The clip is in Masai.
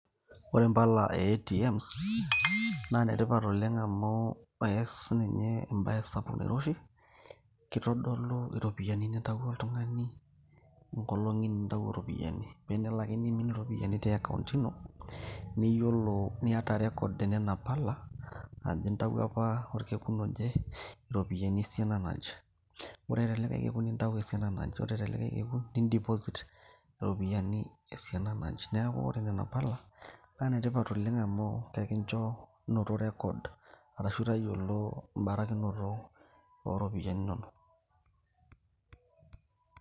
Ore mpala ee ATMs na netipat oleng amu eas ninye mbaa sapuk oleng ,keitadolu ropiyani nintawuo oltungani , enkolong nitawuo ropiyiani te account ino iyolo niata records onona pala ,intawuo apa orkekun oje na esiana naje ore likae kekum nintau esiana naje ,nindeposit iropiyiani esiana naje neaku ore nona pala nemaana oleng amu ekincho noto record arashu tayiolo mbarakinoto oropiyani inono.